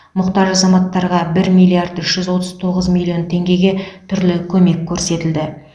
мұқтаж азаматтарға бір миллиард үш жүз отыз тоғыз миллион теңгеге түрлі көмек көрсетілді